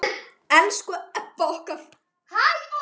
Elsku Ebba okkar.